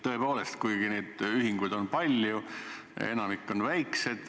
Tõepoolest, ühinguid on palju, aga enamik on väikesed.